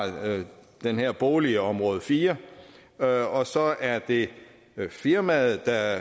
den her bolig i område fire og så er det firmaet der